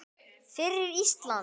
Fyrir Ísland!